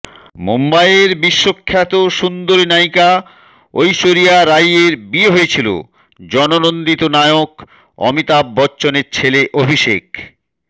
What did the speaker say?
মুম্বাইয়ের বিশ্বখ্যাত সুন্দরী নায়িকা ঐশ্বরিয়া রাই এর বিয়ে হয়েছিল জননন্দিত নায়ক অমিতাভ বচ্চনের ছেলে অভিষেক